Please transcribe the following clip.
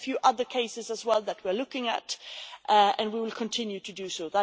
We had a few other cases as well that we are looking at and we will continue to do so.